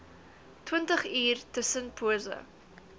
twintig uur tussenpose